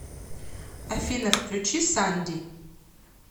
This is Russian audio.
афина включи санди